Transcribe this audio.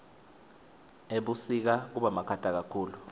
ebusika kubamakhata kakhulu